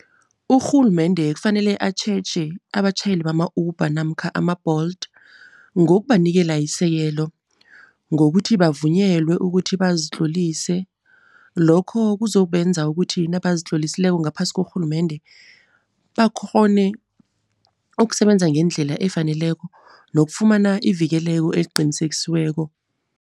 Urhulumende kufanele atjheje abatjhayeli bama-Uber namkha ama-Bolt, ngokubanikela isekelo. Ngokuthi bavunyelwe ukuthi bazitlolise. Lokho kuzobenza ukuthi nabazitlolisileko ngaphasi korhulumende, bakghone ukusebenza ngendlela efaneleko nokufumana ivikeleko eliqinisekisiweko.